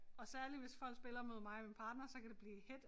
Og særlig hvis folk spiller mod mig og min partner så kan det blive hedt